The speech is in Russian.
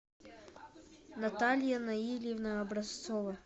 наталья наильевна образцова